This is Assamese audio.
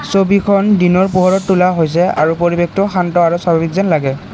ছবিখন দিনৰ পোহৰত তোলা হৈছে আৰু পৰিৱেশটো শান্ত আৰু স্বাভাৱিক যেন লাগে।